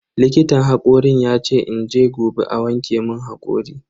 Likitan hakorin yace in je gobe a wanke mun hakori.